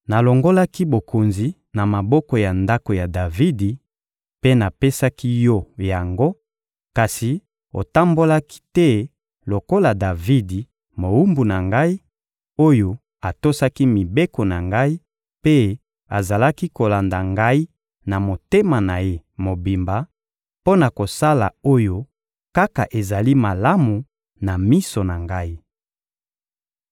Nalongolaki bokonzi na maboko ya ndako ya Davidi mpe napesaki yo yango, kasi otambolaki te lokola Davidi, mowumbu na Ngai, oyo atosaki mibeko na Ngai mpe azalaki kolanda Ngai na motema na ye mobimba, mpo na kosala oyo kaka ezali malamu na miso na Ngai.